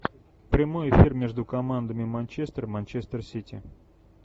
прямой эфир между командами манчестер манчестер сити